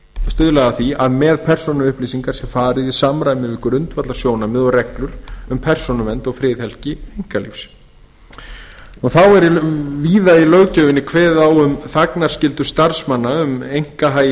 stuðla að því að með persónuupplýsingar sé farið í samræmi við grundvallarsjónarmið og reglur um persónuvernd og friðhelgi einkalífs þá er víða í löggjöfinni kveðið á um þagnarskyldu starfsmanna um einkahagi